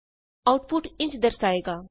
output ਇੰਝ ਦਰਸਾਏਗਾ